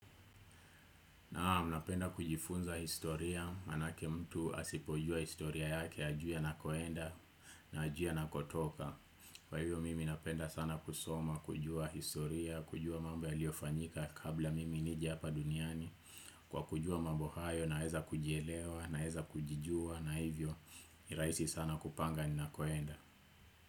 Naam, napenda kujifunza historia, maanake mtu asipojua historia yake, hajui anakoenda, na hajui anakotoka. Kwa hivyo mimi napenda sana kusoma, kujua historia, kujua mambo yaliyofanyika kabla mimi nije hapa duniani. Kwa kujua mambo hayo, naeza kujielewa, naeza kujijua, na hivyo, ni rahisi sana kupanga ninakoenda.